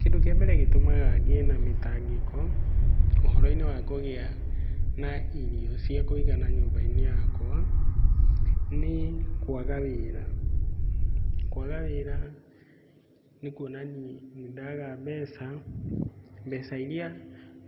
Kĩndũ kĩa mbere gĩtũmaga ngĩe na mĩtangĩko ũhoro-inĩ wa kũgĩa na irio cia kũigana nyũmba-inĩ yakwa, nĩ kwaga wĩra. Kwaga wĩra nĩkuona niĩ nĩ ndaga mbeca, mbeca irĩa